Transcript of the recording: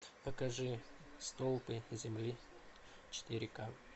покажи столпы земли четыре ка